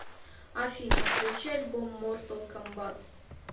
афина включи альбом мортал комбат